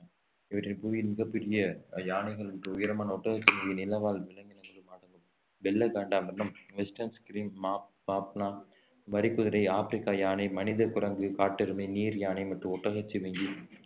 இவற்றில் புவியின் மிகப் பெரிய அஹ் யானைகள் மற்றும் உயரமான ஒட்டகச்சிவிங்கி நிலவாழ் விலங்கினங்களும் அடங்கும் வெள்ளை காண்டாமிருகம் வெஸ்டர்ன் கிரீன் மாப்~ மாப்னா வரிக்குதிரை ஆப்பிரிக்கா யானை மனித குரங்கு காட்டெருமை நீர் யானை மற்றும் ஒட்டகச்சிவிங்கி